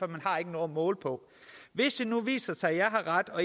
man har ikke noget at måle på hvis det nu viser sig at jeg har ret og